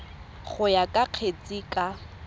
go ya ka kgetse ka